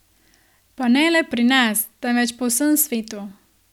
Pa ne le pri nas, temveč po vsem svetu.